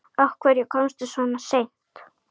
Af hverju komstu svona seint?